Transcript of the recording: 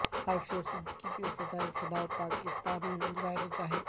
عافیہ صدیقی کی سزا کے خلاف پاکستان میں مظاہرے جاری